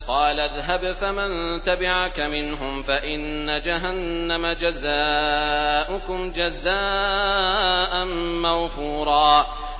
قَالَ اذْهَبْ فَمَن تَبِعَكَ مِنْهُمْ فَإِنَّ جَهَنَّمَ جَزَاؤُكُمْ جَزَاءً مَّوْفُورًا